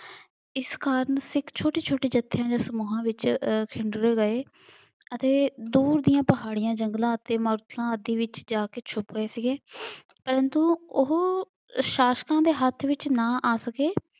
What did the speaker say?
ਇਸ ਕਾਰਨ ਸਿੱਖ ਛੋਟੇ-ਛੋਟੇ ਜੱਥਿਆਂ ਦੇ ਸਮੂਹਾਂ ਵਿੱਚ ਅਹ ਗਏ ਅਤੇ ਦੂਰ ਦੀਆਂ ਪਹਾੜੀਆਂ, ਜੰਗਲਾਂ ਅਤੇ ਆਦਿ ਵਿੱਚ ਜਾਕੇ ਛੁਪ ਗਏ ਸੀਗੇ ਪਰੰਤੂ ਉਹ ਸ਼ਾਸ਼ਕਾਂ ਦੇ ਹੱਥ ਵਿੱਚ ਨਾ ਆ ਸਕੇ।